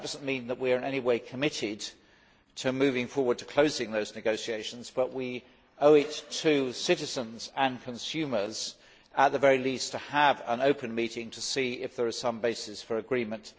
That does not mean that we are in any way committed to moving forward and closing those negotiations. However, we owe it to citizens and consumers to hold, at the very least, an open meeting to see if there is some basis for agreement.